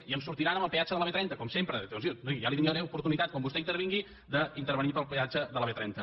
i em sortiran amb el peatge de la b trenta com sempre doncs ja li donaré oportunitat quan vostè intervingui d’intervenir per al peatge de la b trenta